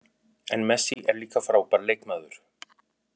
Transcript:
En Messi er líka frábær leikmaður